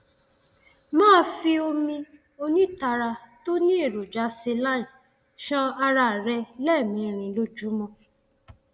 máa fi omi onítara tó ní èròjà saline ṣan ara rẹ lẹẹmẹrin lójúmọ